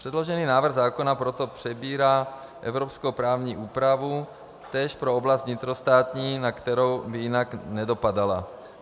Předložený návrh zákona proto přebírá evropskou právní úpravu též pro oblast vnitrostátní, na kterou by jinak nedopadala.